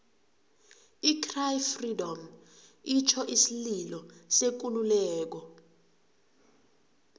i cry freedom itjho isililo sekululeko